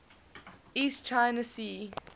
east china sea